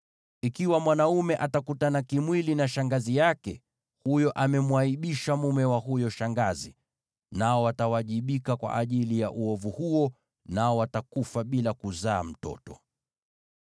“ ‘Ikiwa mwanaume atakutana kimwili na shangazi yake, amemwaibisha mjomba wake. Nao watawajibika kwa ajili ya uovu huo; watakufa bila kuzaa mtoto.